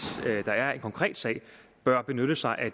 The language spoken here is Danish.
der er en konkret sag bør benytte sig af